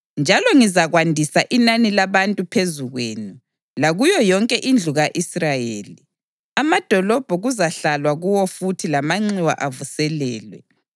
njalo ngizakwandisa inani labantu phezu kwenu, lakuyo yonke indlu ka-Israyeli. Amadolobho kuzahlalwa kuwo futhi lamanxiwa avuselelwe.